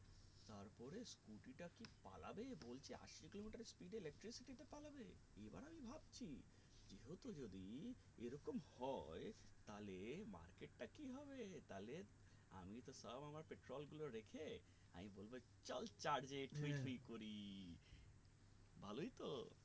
এই রকম হয় তালে market টা কি হবে তালে আমি তো সব আমার petrol গুলো রেখে আমি বলবো চল charge এ করি ভালোই তো